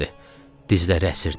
Dizləri əsirdi.